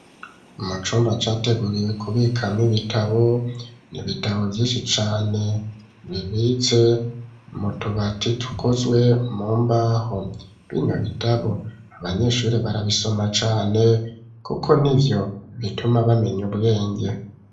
Mu cumba categuriwe kubikama ibitabo n'ibitabo vyishi cane bibitse mu tubati dukozwe mu mbaho bino bitabo abanyeshuri barabisoma cane kuko nivyo bituma bamenye ubwenge